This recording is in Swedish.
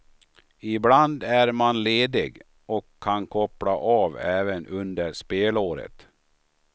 Ibland är man ledig och kan koppla av även under spelåret.